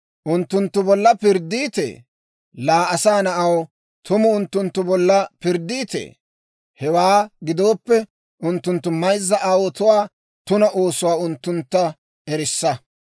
«Unttunttu bolla pirddiitee? Laa asaa na'aw, tumu unttunttu bolla pirddiitee? Hewaa gidooppe, unttunttu mayzza aawotuwaa tuna oosuwaa unttuntta erissa.